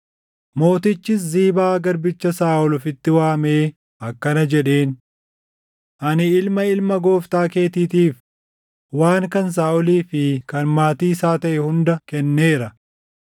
Mootichis Ziibaa garbicha Saaʼol ofitti waamee akkana jedheen; “Ani ilma ilma gooftaa keetiitiif, waan kan Saaʼolii fi kan maatii isaa taʼe hunda kenneera.